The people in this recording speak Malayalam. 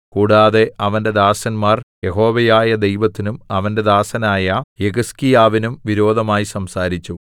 കൂടാതെ അവന്റെ ദാസന്മാർ യഹോവയായ ദൈവത്തിനും അവന്റെ ദാസനായ യെഹിസ്കീയാവിനും വിരോധമായി സംസാരിച്ചു